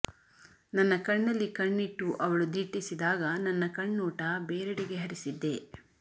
ನನ್ನ ಕಣ್ಣಲ್ಲಿ ಕಣ್ಣಿಟ್ಟು ಅವಳು ದಿಟ್ಟಿಸಿದಾಗ ನನ್ನ ಕಣ್ಣೋಟ ಬೇರೆಡೆಗೆ ಹರಿಸಿದ್ದೆ